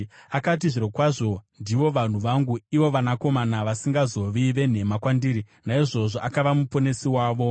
Akati, “Zvirokwazvo ndivo vanhu vangu, ivo vanakomana vasingazovi venhema kwandiri,” naizvozvo akava Muponesi wavo.